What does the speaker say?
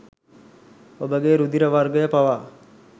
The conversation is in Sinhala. ඔබගේ රුධිර වර්ගය පවා